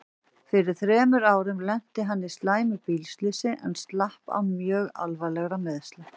Fyrir þremur árum lenti hann í slæmu bílslysi en slapp án mjög alvarlegra meiðsla.